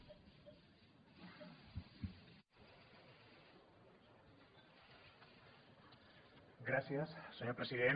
gràcies senyor president